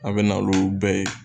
A bɛ na olu bɛɛ ye.